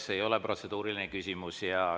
See ei ole protseduuriline küsimus.